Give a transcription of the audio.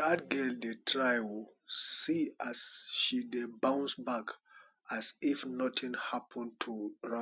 dat girl dey try oo see as she bounce back as if nothing happen to